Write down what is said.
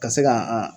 Ka se ka an